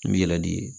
N bɛ yɛlɛ n'i ye